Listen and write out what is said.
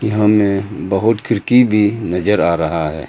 सामने बहुत खिड़की भी नज़र आ रहा है।